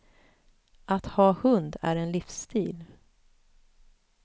Att ha hund är en livsstil.